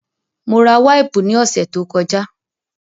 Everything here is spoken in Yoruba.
Mo ra wáìpù ní ọ̀sẹ̀ tó kọjá